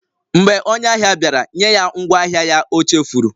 Mgbe onye ahịa bịara, nye ya ngwaahịa ya ọ chefuru